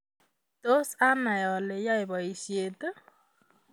Tos anai oleyae boishiet?